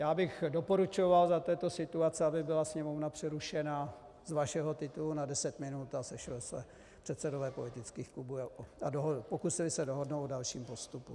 Já bych doporučoval za této situace, aby byla Sněmovna přerušena z vašeho titulu na deset minut a sešli se předsedové politických klubů a pokusili se dohodnout o dalším postupu.